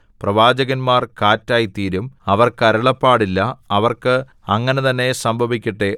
പ്രവാചകന്മാർ കാറ്റായിത്തീരും അവർക്ക് അരുളപ്പാടില്ല അവർക്ക് അങ്ങനെ തന്നെ സംഭവിക്കട്ടെ